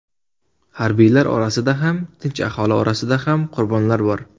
Harbiylar orasida ham, tinch aholi orasida ham qurbonlar bor.